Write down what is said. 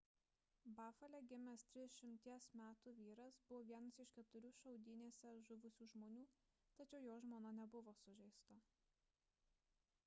bafale gimęs 30 metų vyras buvo vienas iš keturių šaudynėse žuvusių žmonių tačiau jo žmona nebuvo sužeista